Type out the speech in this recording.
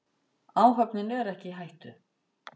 Áhöfnin er ekki í hættu.